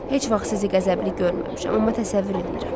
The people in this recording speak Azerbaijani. Heç vaxt sizi qəzəbli görməmişəm, amma təsəvvür eləyirəm.